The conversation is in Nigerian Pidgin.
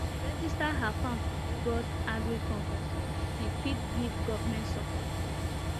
she register her farm for lagos agric conference so she fit get government support program